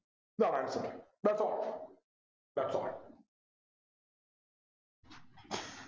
ഇതാണ് Answer thats all thats all